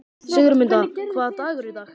Sigurmunda, hvaða dagur er í dag?